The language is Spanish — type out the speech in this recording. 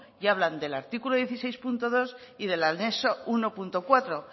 y hablan del artículo dieciséis punto dos y del anexo uno punto cuatro